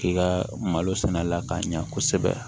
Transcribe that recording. K'i ka malo sɛnɛ la k'a ɲɛ kosɛbɛ